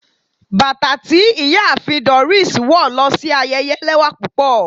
Batà ti Iyaafin Doris wọ lo si ayẹyẹ lẹwa pupọ